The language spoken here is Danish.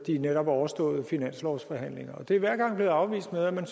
netop overståede finanslovsforhandlinger det er hver gang blevet afvist med at man